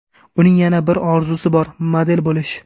Uning yana bir orzusi bor, model bo‘lish.